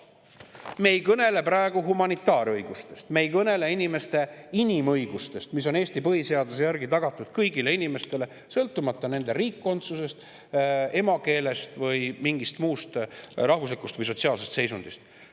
Me ei kõnele praegu humanitaarõigustest, me ei kõnele inimõigustest, mis on Eesti põhiseaduse järgi tagatud kõigile inimestele, sõltumata nende riikkondsusest, emakeelest või mingist muust rahvuslikust või sotsiaalsest seisundist.